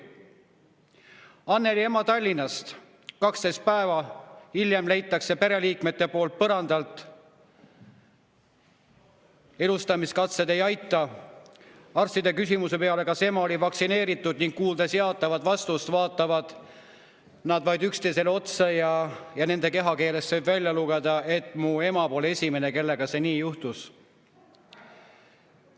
Anneli ema Tallinnast: 12 päeva hiljem leitakse pereliikmete poolt põrandalt, elustamiskatsed ei aita, arstid küsisid, kas ema oli vaktsineeritud, kuuldes jaatavat vastust, vaatasid vaid üksteisele otsa ja nende kehakeelest võis välja lugeda, et ema polnud esimene, kellega nii juhtus.